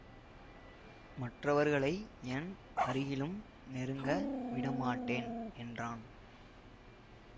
மற்றவர்களை என் அருகிலும் நெருங்க விடமாட்டேன் என்றான்